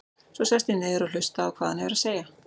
Svo ég sest niður og hlusta á hvað hann hefur að segja.